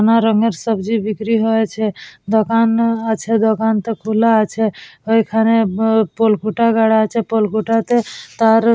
নানা রঙের সবজি বিক্রি হয়েছে দোকান আ-আছে দোকানটা খুলে আছে ওইখানে ম পলখুটা গাড়া আছে পলখুটাতে তার--